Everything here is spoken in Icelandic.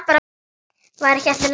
Var ekki allt í lagi?